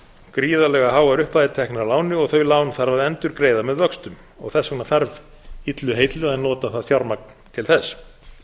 gríðarlega háar upphæðir teknar að láni og þau lán þarf að endurgreiða með vöxtum og þess vegna þarf illu heilli að nota það fjármagn til þess